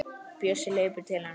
Bjössi hleypur til hennar.